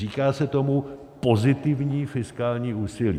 Říká se tomu pozitivní fiskální úsilí.